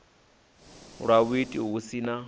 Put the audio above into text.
lwa vhuiiti hu si na